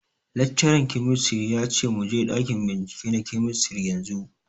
Laccaran kemistri ya ce muje ɗakin bincike na kemistri yanzu